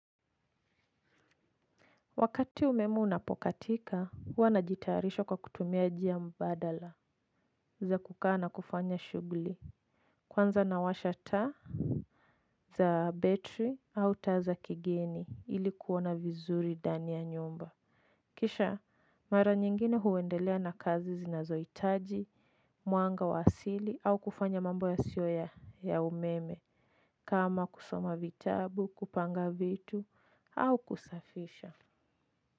Wakati umeme unapokatika huwa najitayarisha kwa kutumia jia mbadala za kukaa na kufanya shuguli kwanza nawasha taa za betri au taa za kigeni ili kuona vizuri dani ya nyumba kisha mara nyingine huendelea na kazi zinazoitaji mwanga wa asili au kufanya mambo yasio ya umeme kama kusoma vitabu kupanga vitu au kusafisha.